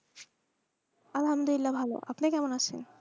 আলহামদুলিল্লা ভালো আপনি কেমন আছেন?